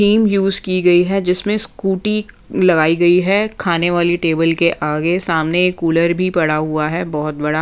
use की गई है जिसमें स्कूटी लगाई गई है खाने वाली टेबल के आगे सामने एक कूलर भी पड़ा हुआ है बहुत बड़ा --